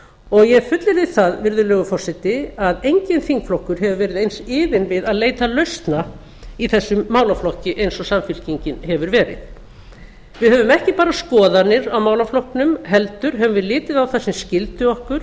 og ég fullyrði það virðulegi forseti að enginn þingflokkur hefur verið eins iðinn við að leita lausna í þessum málaflokki eins og samfylkingin hefur verið við höfum ekki bara skoðanir á málaflokknum heldur höfum við litið á það sem skyldu